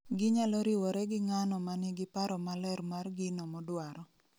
Ginyalo riwore gi ng'ano ma nigi paro maler mar gino modwaro